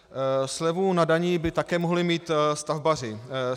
Slevu na dani by také mohli mít stavbaři.